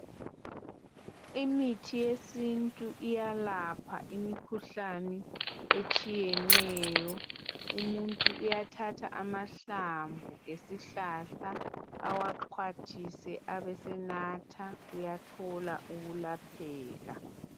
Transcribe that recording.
Imithi yesintu iyalapha imkhuhlane etshiyeneyo umuntu uyathatha amahlamvu esihlahla awaxhwathise abe senatha uyathola ukulapheka